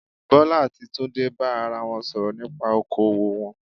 Bọ́lá àti Túndé bá ara wọn sọ̀rọ̀ nípa okoòwò wọn